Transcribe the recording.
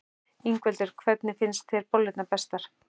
Ingveldur: Hvernig finnst þér bollurnar bestar?